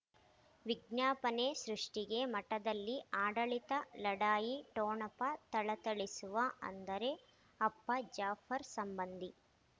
ವಿಜ್ಞಾಪನೆ ಸೃಷ್ಟಿಗೆ ಮಠದಲ್ಲಿ ಆಡಳಿತ ಲಢಾಯಿ ಠೊಣಪ ಥಳಥಳಿಸುವ ಅಂದರೆ ಅಪ್ಪ ಜಾಫರ್ ಸಂಬಂಧಿ